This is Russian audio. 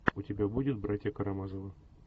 у тебя будет братья карамазовы